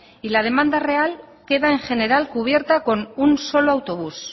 y la demanda real queda en general cubierta con un solo autobús